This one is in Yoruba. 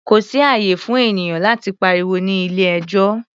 Kò sí ààyè fún ènìyàn láti pariwo ní ilé-ẹjọ́.